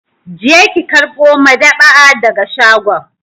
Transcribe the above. Je ki karɓo madab'a daga shagon!